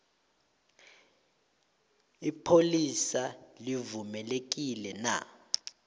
ipholisa livumelekile na